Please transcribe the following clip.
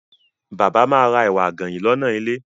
Bàbá ma ra ẹ̀wà àgànyìn lọ́nà ilé.